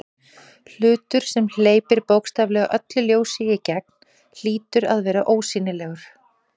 Hlutur sem hleypir bókstaflega öllu ljósi í gegn hlýtur að vera ósýnilegur.